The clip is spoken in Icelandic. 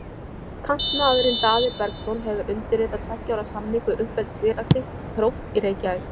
Kantmaðurinn Daði Bergsson hefur undirritað tveggja ára samning við uppeldisfélag sitt, Þrótt í Reykjavík.